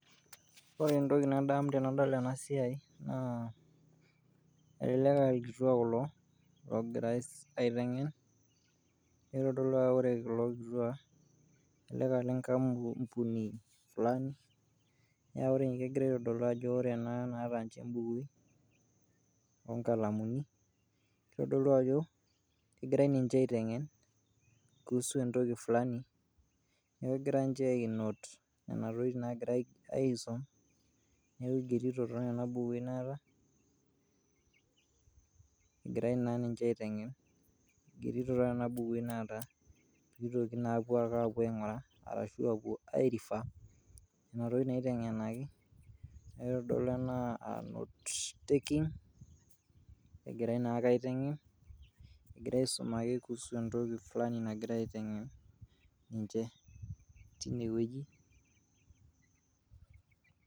Ore entoki nadamu tenadol ena siai naa elelek a irkituak kulo logirai aiteng'en, nitodolu ake ore kulo kituak elelek a ile nkampuni fulani, neeku nje egirai aitodolu ajo ore ena naata ninje mbukui o nkalamuni, itodolu ajo kegirai ninje aiteng'en kuhusu entoki fulani. Neeku igira nje ai note nena tokitin naagira aisom, neeku igerito too nena bukui naata, egirai naa ninje aiteng'en igerito nena bukui naata piitoki naake aapuo aing'uraa ashu apuo ai refer nena tokitin naiteng'enaki, nitodolu enaa note taking egirai naake aiteng'en egira aisum ake kuhusu entoki fulani nagirai aiteng'en ninje tine wueji.